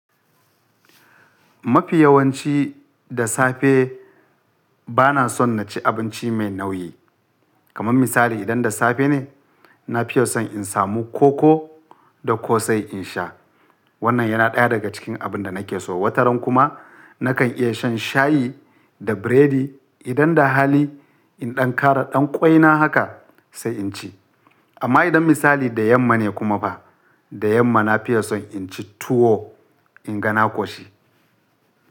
Mafi yawanci da safe bana son na ci abinci mai nauyi. Kaman misali idan da safe ne, na fiya son in samu koko da ƙosai in sha. Wannan yana ɗaya daga cikin abin da nake so. Wataran kuma nakan iya shan shayi da buredi. Idan da hali, in ɗan ƙara ɗan ƙwaina haka sai in ci. Amma idan misali da yamma ne kuma fa, da yamma na fiye son in ci tuwo inga na ƙoshi.